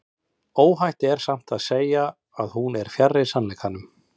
óhætt er samt að segja að hún er fjarri sannleikanum